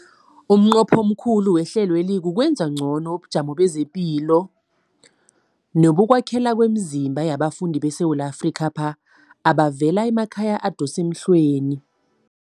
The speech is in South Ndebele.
Umnqopho omkhulu wehlelweli kukwenza ngcono ubujamo bamaphilo nebokwakhela kwemizimba yabafundi beSewula Afrika abavela emakhaya adosa emhlweni.